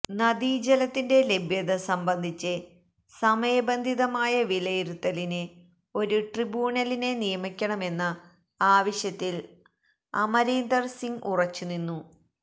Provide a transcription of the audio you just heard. നദീ ജലത്തിന്റെ ലഭ്യത സംബന്ധിച്ച് സമയബന്ധിതമായ വിലയിരുത്തലിന് ഒരു ട്രിബ്യൂണലിനെ നിയമിക്കണമെന്ന ആവശ്യത്തില് അമരീന്ദര് സിംഗ് ഉറച്ചുനിന്നു